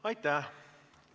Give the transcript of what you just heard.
Aitäh!